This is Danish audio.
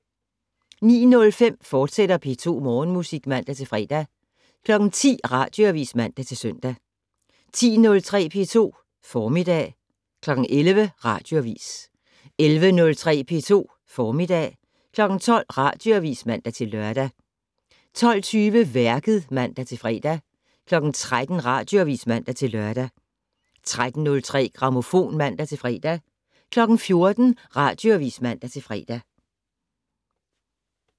09:05: P2 Morgenmusik, fortsat (man-fre) 10:00: Radioavis (man-søn) 10:03: P2 Formiddag 11:00: Radioavis 11:03: P2 Formiddag 12:00: Radioavis (man-lør) 12:20: Værket (man-fre) 13:00: Radioavis (man-lør) 13:03: Grammofon (man-fre) 14:00: Radioavis (man-fre)